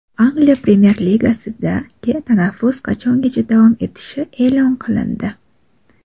Angliya Premer-ligasidagi tanaffus qachongacha davom etishi e’lon qilindi.